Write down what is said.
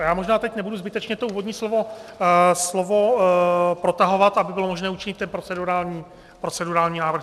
A já možná teď nebudu zbytečně to úvodní slovo protahovat, aby bylo možné učinit ten procedurální návrh.